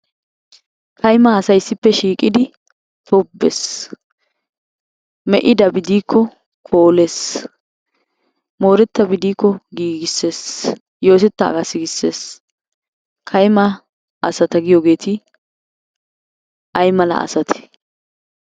Kaymma asay issippe shiiqqidi tobbees. Me'idabi diikko koolees, mooretabi diikko giggissees, yootettaagaa siggissees, kaymma asata giyoogeeti aymala asate?